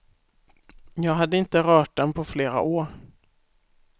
Jag hade inte rört den på flera år.